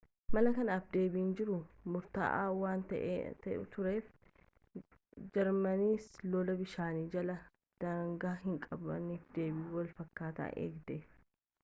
mala kanaaf deebiin jiru murtaa’aa waan tureef jarmaniinis lola bishaan jalaa daangaa hinqabneef deebii walfakkataa eegde